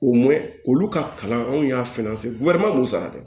O mɛn olu ka kalan anw y'a k'u sara dɛ